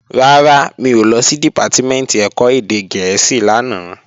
Rárá, mi ò lọ sí Dìpátímẹ̀ntì ẹ̀kọ́ èdè gẹ̀ẹ́sì lánàá